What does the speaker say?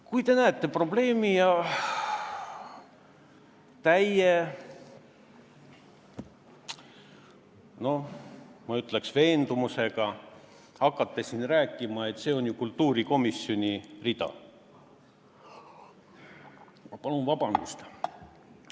Kui te näete probleemi ja hakkate, ma ütleks, täie veendumusega rääkima, et see on ju kultuurikomisjoni rida, siis – palun vabandust!